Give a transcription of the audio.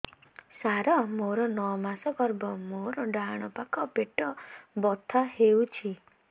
ସାର ମୋର ନଅ ମାସ ଗର୍ଭ ମୋର ଡାହାଣ ପାଖ ପେଟ ବଥା ହେଉଛି